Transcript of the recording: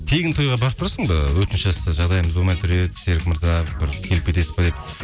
тегін тойға барып тұрасың ба өтініш жасаса жағдайымыз болмай тұр еді серік мырза бір келіп кетесіз бе деп